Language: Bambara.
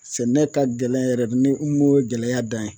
Sɛnɛ ka gɛlɛn yɛrɛ de ni o ye gɛlɛya dan ye.